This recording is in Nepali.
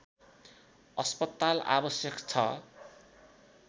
अस्पताल आवश्यक छ